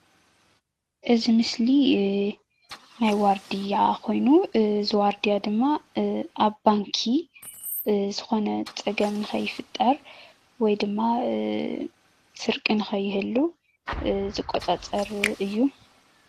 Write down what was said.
እዚ ምስሊ ናይ ዋርድያ ኮይኑ እዚ ዋርድያ ድማ ኣብ ባንኪ ዝኮነ ፀገም ንከይፍጠር ወይ ድማ ስርቂ ንከይህሉ ዝቆፃፀር እዩ።